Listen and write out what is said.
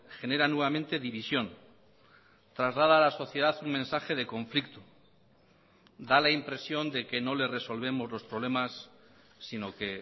genera nuevamente división traslada a la sociedad un mensaje de conflicto da la impresión de que no le resolvemos los problemas sino que